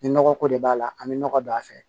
Ni nɔgɔko de b'a la an bɛ nɔgɔ don a fɛ